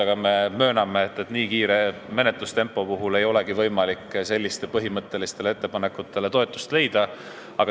Aga me mööname, et nii kiire menetlustempo puhul ei olegi võimalik sellistele põhimõttelistele ettepanekutele toetust leida.